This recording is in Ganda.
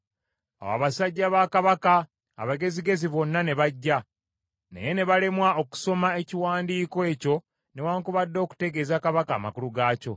Awo abasajja ba kabaka abagezigezi bonna ne bajja, naye ne balemwa okusoma ekiwandiiko ekyo newaakubadde okutegeeza kabaka amakulu gaakyo.